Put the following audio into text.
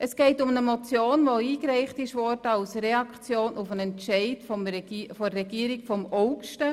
Es geht um eine Motion, die als Reaktion auf einen Entscheid der Regierung im August eingereicht worden ist.